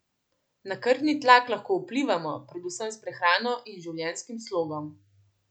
Na krvni tlak lahko vplivamo, predvsem s prehrano in življenjskim slogom.